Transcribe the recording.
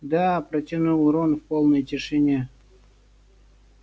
да протянул рон в полной тишине